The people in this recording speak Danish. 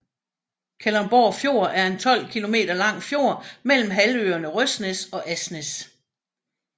Kalundborg Fjord er en 12 kilometer lang fjord mellem halvøerne Røsnæs og Asnæs